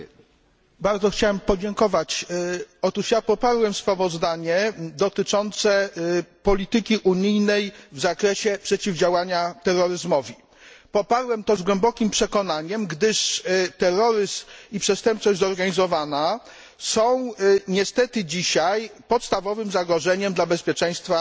Panie Przewodniczący! Bardzo chciałem podziękować. Otóż ja poparłem sprawozdanie dotyczące polityki unijnej w zakresie przeciwdziałania terroryzmowi. Poparłem to z głębokim przekonaniem, gdyż terroryzm i przestępczość zorganizowana są niestety dzisiaj podstawowym zagrożeniem dla bezpieczeństwa